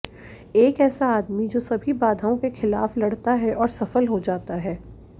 एक ऐसा आदमी जो सभी बाधाओं के खिलाफ लड़ता है और सफल हो जाता है